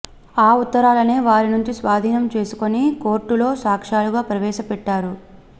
ఆ ఉత్తరాలనే వారి నుంచి స్వాదీనం చేసుకుని కోర్టులో సాక్ష్యాలుగా ప్రవేశపెట్టారు